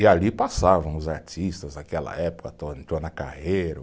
E ali passavam os artistas daquela época,